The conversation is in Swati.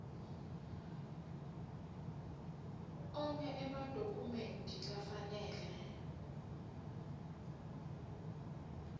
onkhe emadokhumenti lafanele